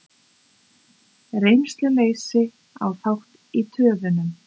Reynsluleysi á þátt í töfunum